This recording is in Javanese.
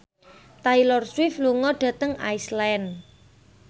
Taylor Swift lunga dhateng Iceland